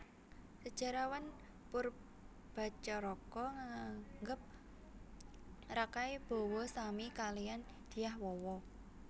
Sejarawan Poerbatjaraka nganggep Rakai Bawa sami kaliyan Dyah Wawa